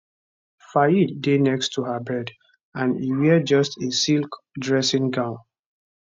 fayed dey next to her bed and e wear just a silk dressing gown